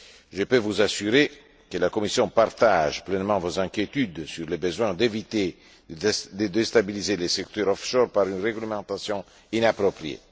Je peux vous assurer que la Commission partage pleinement vos inquiétudes sur les besoins d'éviter de déstabiliser le secteur offshore par une réglementation inappropriée.